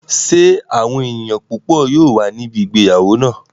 Ṣé àwọn èèyàn púpọ̀ yóò wà ní ibi ìgbéyàwó náà?